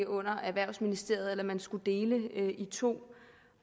under erhvervsministeriet eller om man skulle dele det to